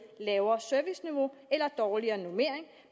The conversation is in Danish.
lavere serviceniveau eller dårligere normering